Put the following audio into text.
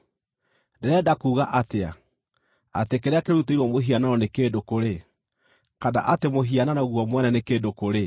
Ndĩrenda kuuga atĩa? Atĩ kĩrĩa kĩrutĩirwo mũhianano nĩ kĩndũ kũrĩ, kana atĩ mũhianano guo mwene nĩ kĩndũ kũrĩ?